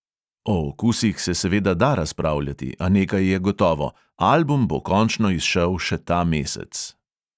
O okusih se seveda da razpravljati, a nekaj je gotovo: album bo končno izšel še ta mesec.